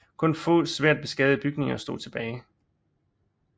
Kun få svært beskadigede bygninger stod tilbage